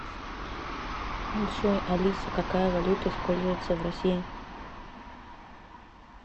джой алиса какая валюта используется в россии